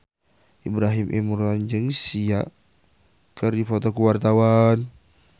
Ibrahim Imran jeung Sia keur dipoto ku wartawan